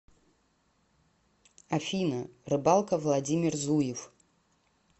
афина рыбалка владимир зуев